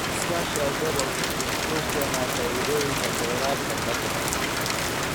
Iskaashiga gobolku wuxuu keenaa faa'iidooyinka kheyraadka badda.